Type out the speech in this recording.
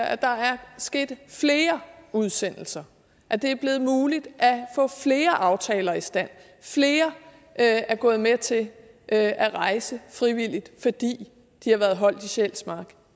at der er sket flere udsendelser at det er blevet muligt at få flere aftaler i stand at er gået med til at rejse frivilligt fordi de har været holdt på sjælsmark